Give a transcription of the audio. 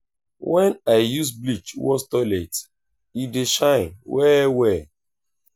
wen i use bleach wash toilet e dey shine well-well.